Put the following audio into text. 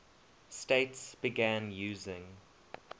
states began using